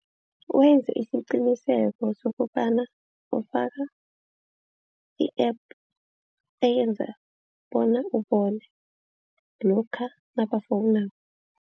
Wenze isiqiniseko sokobana ofaka i-App eyenza bona ubone lokha nabafonako.